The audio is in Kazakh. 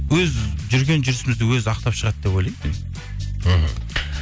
өз жүрген жүрісіміз де өзі ақтап шығады деп ойлаймын мен мхм